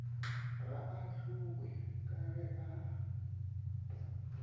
ga ahlowe ka ge a